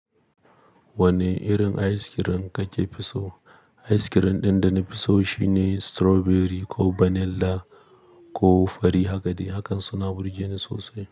Wane irin ice cream kake so? Ice Cream ɗin da na fi so shine strawberry ko vanilla ko fari. Hakade, hakan suna burge ni sosai.